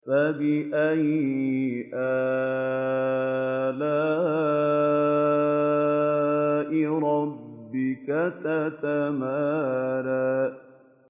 فَبِأَيِّ آلَاءِ رَبِّكَ تَتَمَارَىٰ